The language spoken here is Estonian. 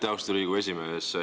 Aitäh, austatud Riigikogu esimees!